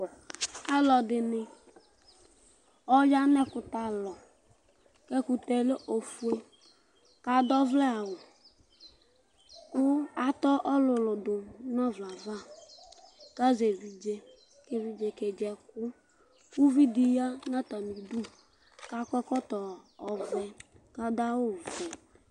aluɛdɩnɩ aya nu ɛkutɛ alɔ ku ɛkutɛ yɛ lɛ ofuǝ, ku adu ɔvlɛ awʊ ku ata ɔlʊlʊ dʊ nu ɔvlɛ yɛ ava, ku azɛ evidze, ku evidze yɛ kedzi ɛku, uvi dɩ ya nʊ atamidu, ku akɔ ɛkɔtɔ ɔvɛ ku adʊ awu vɛ